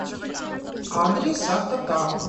адрес автотаун